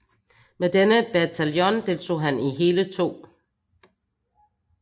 Med denne bataljon deltog han i hele 2